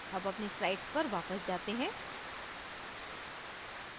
अब अपनी slides पर वापस जाते हैं